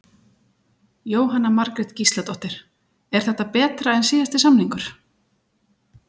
Jóhanna Margrét Gísladóttir: Er þetta betra en síðasti samningur?